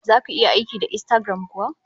Zaku iya aiki da Instagram kuwa?